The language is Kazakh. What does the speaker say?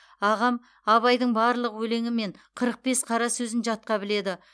ағам абайдың барлық өлеңі мен қырық бес қара сөзін жатқа біледі